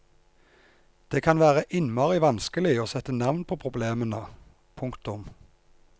Det kan være innmari vanskelig å sette navn på problemene. punktum